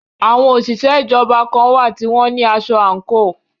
Àwọn òṣìṣẹ́ ìjọba kan wà tí wọn ní aṣọ/àǹkò.